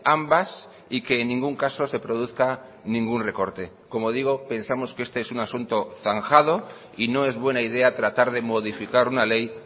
ambas y que en ningún caso se produzca ningún recorte como digo pensamos que este es un asunto zanjado y no es buena idea tratar de modificar una ley